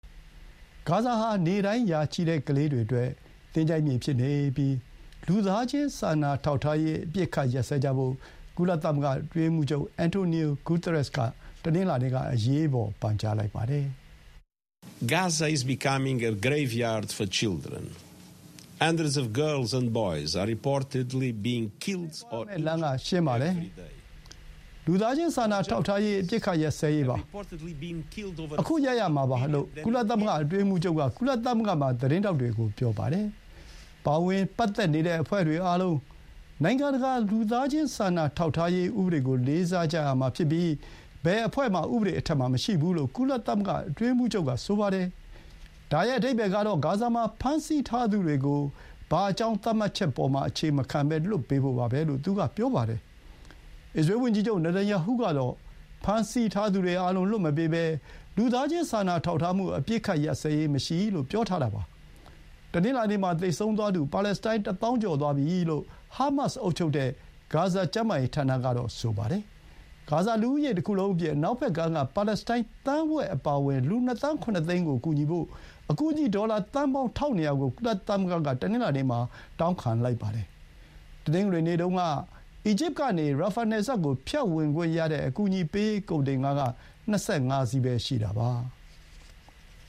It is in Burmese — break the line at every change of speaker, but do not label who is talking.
ဂါဇာဟာ နေ့တိုင်း ရာချီတဲ့ ကလေးတွေအတွက် သင်္ချိုင်းမြေဖြစ်နေပြီး လူသားချင်းစာနာထောက်ထားရေး အပစ်အခတ်ရပ်စဲကြဖို့ ကုလသမဂ္ဂ အတွင်းရေးမှူးချုပ် အန်တိုနီယိုဂူတားရက်စ် က တနင်္လာနေ့က အရေးပေါ် ပန်ကြားလိုက်ပါတယ်။
“ရှေ့သွားရမယ့်
လမ်းက ရှင်းပါတယ်။ လူသားချင်းစာနာထောက်ထားရေး အပစ်အခတ်ရပ်စဲရေးပါ
။ ခု ရပ်ရမှာပါ။” လို့ ကုလသ
မဂ္ဂ အတွင်းရေးမှူးချုပ်က ကုလသမဂ္ဂမှာ သတင်းထောက်တွေ ကို ပြောပါတယ်။ ပါဝင်ပတ်သက်နေတဲ့ အဖွဲ့တွေအားလုံး နိုင်ငံတကာ လူသားချင်းစာနာထောက်ထားရေး ဥပဒေကို လေးစားကြရမှာဖြစ်ပြီး ဘယ်အဖွဲ့ မှ ဥပဒေအထက် မှာ မရှိဘူး လို့ ကုလအတွင်းရေးမှူးချုပ်က ဆိုပါတယ်။ “ဒါရဲ့ အဓိပ္ပါယ်ကတော့ ဂါဇာမှာ ဖမ်းဆီးထားသူတွေကို ဘာအကြောင်းသတ်မှတ်ချက်ပေါ်မှာမှ အခြေမခံဘဲ လွှတ်ပေးဖို့ပါပဲ။” လို့ သူက ပြောပါတယ်။ အစ္စရေးဝန်ကြီးချုပ် နာတန်ယာဟု ကတော့ ဖမ်းဆီးထားသူတွေအားလုံး လွှတ်မပေးဘဲ လူသားချင်းစာနာထောက်ထားမှု အပစ်အခတ် ရပ်စဲရေး မရှိ- လို့ ပြောထားတာပါ။ တနင်္လာနေ့ မှာ သေဆုံးသွားသူ ပါလက်စတိုင်း တစ်သောင်း ကျော်သွားပြီ လို့ ဟားမတ်စ် အုပ်ချုပ်တဲ့ ဂါဇာ ကျန်းမာရေးဌာနက ပြောပါတယ်။ ဂါဇာလူဦးရေ တခုလုံးအပြင် အနောက်ဘက်ကမ်းက ပါလက်စတိုင်း သန်းဝက် အပါအဝင် လူ ၂ သန်း၊ ၇ သိန်းကို ကူညီဖို့ အကူအညီ ဒေါ်လာ သန်းပေါင်း ၁,၂၀၀ ကို ကုလသမဂ္ဂက တနင်္လာနေ့ မှာ တောင်းခံလိုက်ပါတယ်။ တနင်္ဂနွေနေ့တုန်း က အီဂျစ်ကနေ ရာဖာ နယ်စပ်ကို ဖြတ်ဝင်ခွင့်ရတဲ့ အကူအညီပေးရေး ကုန်တင်ကား က ၂၅ စီးပဲ ရှိတာပါ။